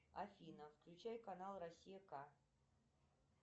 афина включай канал россия к